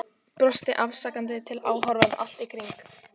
Brosti afsakandi til áhorfenda allt í kring.